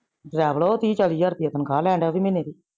ਡ੍ਰੇਵਲ ਓਹ ਤੀਹ ਚਾਲੀ ਹਜਾਰ ਰੁਪਿਆ ਤਨਖਾ ਲੈਂਡਦੇਹਾ ਓਵੀ ਮਹੀਨੇ ਦੀ।